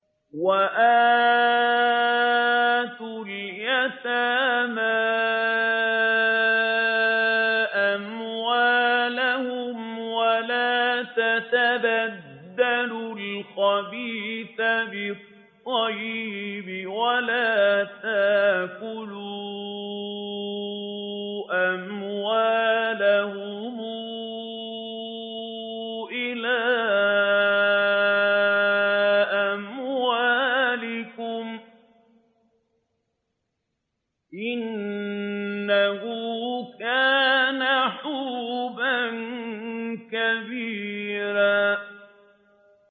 وَآتُوا الْيَتَامَىٰ أَمْوَالَهُمْ ۖ وَلَا تَتَبَدَّلُوا الْخَبِيثَ بِالطَّيِّبِ ۖ وَلَا تَأْكُلُوا أَمْوَالَهُمْ إِلَىٰ أَمْوَالِكُمْ ۚ إِنَّهُ كَانَ حُوبًا كَبِيرًا